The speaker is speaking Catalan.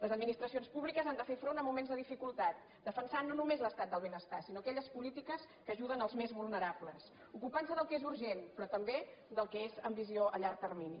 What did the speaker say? les administracions públiques han de fer front a moments de dificultat defensant no només l’estat del benestar sinó aquelles polítiques que ajuden els més vulnerables ocupant se del que és urgent però també del que és amb visió a llarg termini